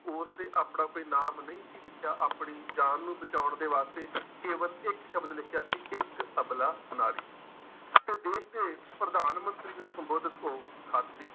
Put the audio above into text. ਉਸਨੇ ਆਪਣਾ ਕੋਈ ਨਾਮ ਨਹੀਂ ਸੀ ਲਿਖਿਆ ਆਪਣੀ ਜਾਨ ਨੂੰ ਬਚਾਉਣ ਦੇ ਵਾਸਤੇ ਕੇਵਲ ਇੱਕ ਸ਼ਬਦ ਲਿਖਿਆ ਸੀ ਇੱਕ ਅਬਲਾ ਨਾਰੀ ਤੇ ਦੇਸ ਦੇ ਪ੍ਰਧਾਨ ਮੰਤਰੀ ਨੂੰ ਸੰਬੋਧਿਤ ਉਹ ਖੱਤ ਸੀ।